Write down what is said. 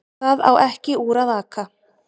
Það á ekki úr að aka